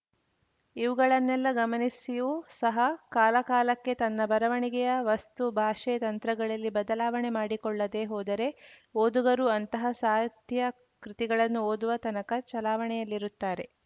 ಇವುಗಳನ್ನೆಲ್ಲ ಗಮನಿಸಿಯೂ ಸಹ ಕಾಲಕಾಲಕ್ಕೆ ತನ್ನ ಬರವಣಿಗೆಯ ವಸ್ತು ಭಾಷೆ ತಂತ್ರಗಳಲ್ಲಿ ಬದಲಾವಣೆ ಮಾಡಿಕೊಳ್ಳದೇ ಹೋದರೆ ಓದುಗರು ಅಂತಹ ಸಾತ್ಯಾ ಕೃತಿಗಳನ್ನು ಓದುವ ತನಕ ಚಲಾವಣೆಯಲ್ಲಿರುತ್ತಾರೆ